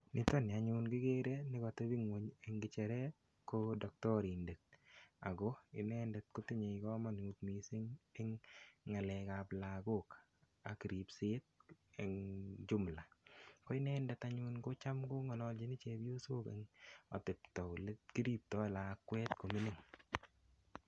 Niton ni anyun kigere nekatebi ingwony eng kecheret ko doktorindet ago inendet kotinyei kamanut mising eng ngalek ab lagok ak ripset eng jumula. Ko inendet anyun kocham kongalalchin chepiosok eng atepto olekiripto lakwet ne mining.